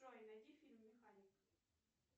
джой найди фильм механик